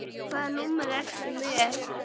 Hvaða númer ertu með?